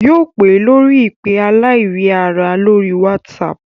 Yóò pè ẹ́ lórí ìpè aláìríara lórí WhatsApp